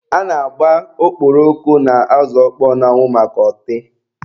A na-agba okporoko na azụ ọkpọọ n'anwụ maka ọtị.